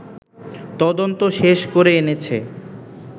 তদন্ত শেষ করে এনেছে